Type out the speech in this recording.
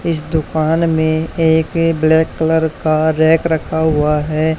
इस दूकान में एक ब्लैक कलर का रैक रखा हुआ है।